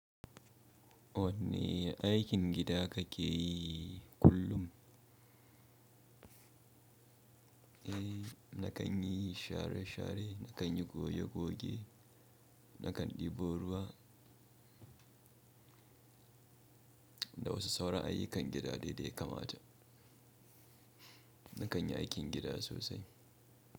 Wanne aikin gida kake yi kullum? Eh na kan yi share share, na kan yi goge goge, na kan ɗebo ruwa, da wasu sauran ayyukan gida dai da ya kamata. Na kan yi aikin gida sosai.